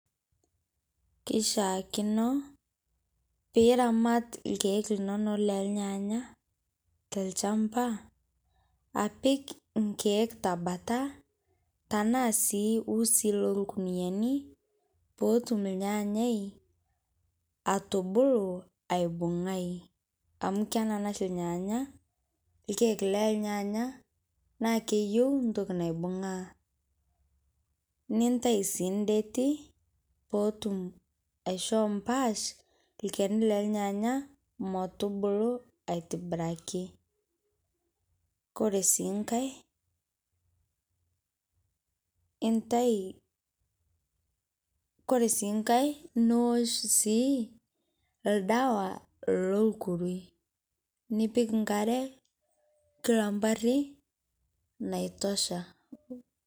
Keishakino pii iramaat lkiek linono le lnyanya te lchambaa apiik nkiek te mbaata tana sii usii lo lkuniani poo otuum lnyanyi atobuluu aibung'ai ,amu kenana shii lnyanya lkiek le lnyanya naa keiyeu ntokii naibung'aa. Nintaii sii ndeete poo otuum aishoo mbaash lkenii le lnyanya motubuluu aitibiraki. Kore sii nkaii entaii, kore sii nkaii niosh sii ldewa loo lkurui nipiik nkaare kila mpaari naitoshaa.